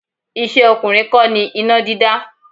Iṣẹ́ ọkùnrin kọ́ ni iná dídá.